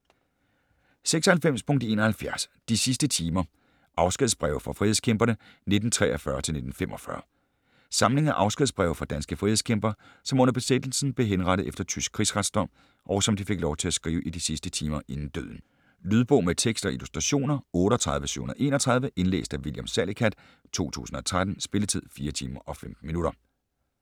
96.71 De sidste timer: afskedsbreve fra frihedskæmperne 1943-1945 Samling af afskedsbreve fra danske frihedskæmpere, som under besættelsen blev henrettet efter tysk krigsretsdom, og som de fik lov at skrive i de sidste timer inden døden. Lydbog med tekst og illustrationer 38731 Indlæst af William Salicath, 2013. Spilletid: 4 timer, 15 minutter.